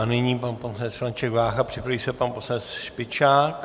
A nyní pan poslanec František Vácha, připraví se pan poslanec Špičák.